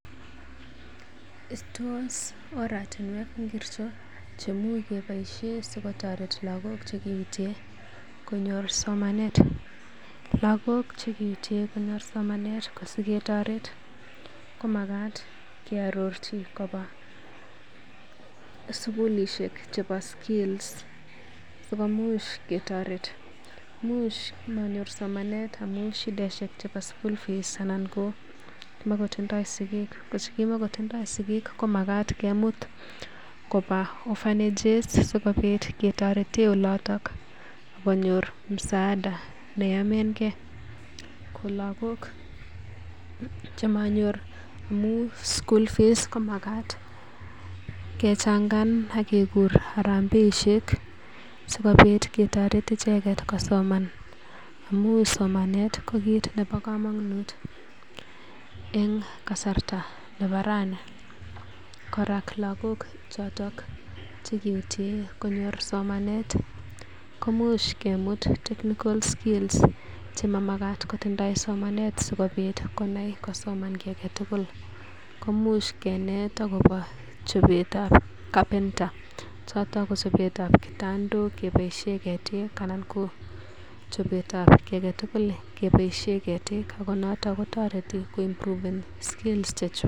Tos oratunwek ngircho chemu kepaishe sokotoret lakok chikeutie konyor somanet? Lagok che kiutie konyor somanet ko siketoret komagat keororchi koba sugulishek chebo skills sikomuch ketoret. Imuch manyor somanet amun shidaishek chebo school fees anan ko kimagotindoi sigik, komagat kimut koba orphanages sikobit ketoren oloto ak konyor msaada neyomegei. Ko lagok chemanyor amun school fees komagat kechangan ak kegur harambeeisheksikobit ketoret icheget kosoman. Amun somanet ko kit nebo komonut en kasarta nebo rani. Kora lagok choto che kiutien konyor somanet komuch kemut technical skills chemamagat kotindoi somanet sikobit konai kosoman kiy age tugul. Komuch kenet agobo chobetab carpentry choto ko chobet ab kitandok kiboisie ketik, anan ko chobetab kiy agetugul keboisie ketik ago noton kotoreti koimproven skills chechwak.